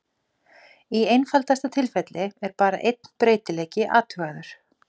Í einfaldasta tilfelli er bara einn breytileiki athugaður.